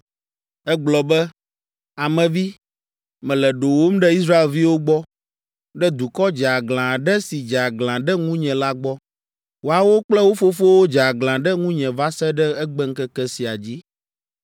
Egblɔ be, “Ame vi, mele ɖowòm ɖe Israelviwo gbɔ, ɖe dukɔ dzeaglã aɖe si dze aglã ɖe ŋunye la gbɔ. Woawo kple wo fofowo dze aglã ɖe ŋunye va se ɖe egbeŋkeke sia dzi.